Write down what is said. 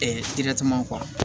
kɔrɔ